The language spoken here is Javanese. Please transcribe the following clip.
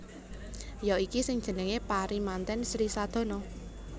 Ya iki sing jenengé pari mantèn Sri Sadana